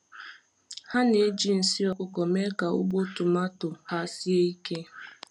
Ha na-eji nsị ọkụkọ mee ka ugbo tomato ha sie ike.